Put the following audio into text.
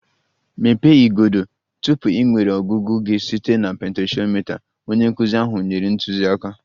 Mepee igodo! Tupu ị nwere ọgụgụ gị site na potentiomita, onye nkụzi ahụ nyere ntụziaka